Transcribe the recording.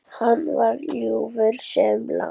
Hann var ljúfur sem lamb.